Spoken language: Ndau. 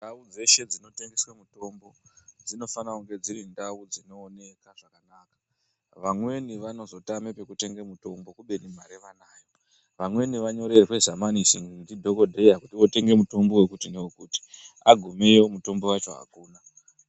Ndau dzeshe dzinotengeswa mutombo dzinofane kunge dziri ndau dzinooneka zvakanaka vamweni vanozotama oekutenge mitombo kubeni mare vanayo vamweni vanyorerwe zamanisi ndidhokodheya kuti wotenge mutombo wekuti newekuti agumeyo mutombo wacho akuna.